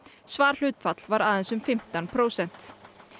svarhlutfall var aðeins um fimmtán prósent